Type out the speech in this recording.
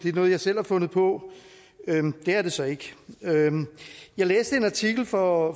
er noget jeg selv har fundet på men det er det så ikke jeg læste en artikel for